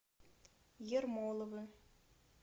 ермоловы